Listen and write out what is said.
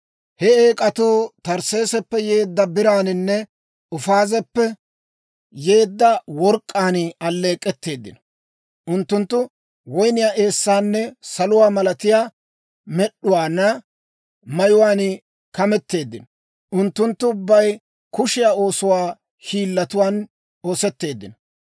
He eek'atuu Tarsseesappe yeedda biraaninne Ufaazeppe yeedda work'k'aan alleek'k'etteedino. Unttunttu woyniyaa eessaanne saluwaa malatiyaa med'uwaana mayuwaan kameteeddino. Unttunttu ubbay kushiyaa oosuwaa hiillatuwaan oosetteeddino.